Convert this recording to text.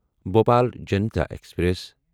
Bhopal Janta express